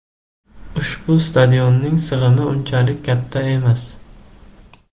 Ushbu stadionning sig‘imi unchalik katta emas.